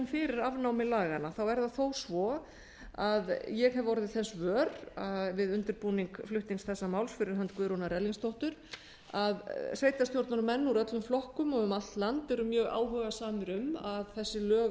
fyrir afnámi laganna er það þó svo að ég hef orðið þess vör við undirbúning flutnings þessa máls fyrir hönd guðrúnar erlingsdóttur að sveitarstjórnarmenn úr öllum flokkum og um allt land eru mjög áhugasamir um að þessi lög